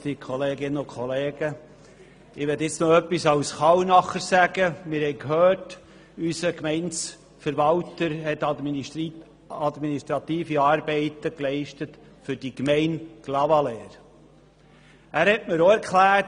Wir haben gehört, dass unser Gemeindeverwalter administrative Arbeiten für die Gemeinde Clavaleyres geleistet hat.